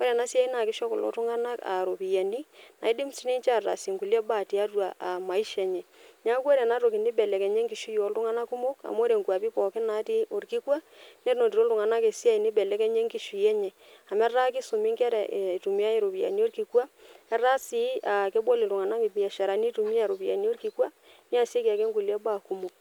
ore ena siai naa kisho kulo tung'anak uh iropiyiani naidim sininche ataasie nkulie baa tiatua uh maisha enye niaku ore enatoki nibelekenya enkishui oltung'anak kumok amu ore nkuapi pookin natii orkikwa nenotito iltung'anak esiai nibelekenya enkishui enye amu etaa kisumi inkera e itumiae iropiyiani orkikwa etaa sii uh kebol iltung'anak imbiasharani itumia iropiyiani orkikwa niasieki ake nkulie baa kumok.